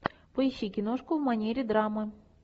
поищи киношку в манере драмы